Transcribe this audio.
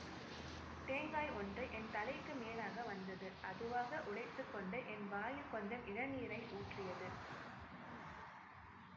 தேங்காய் ஒன்று என் தலைக்கு மேலாக வந்தது அதுவாக உடைத்து கொண்டு என் வாயில் கொஞ்சம் இளநீரை ஊற்றியது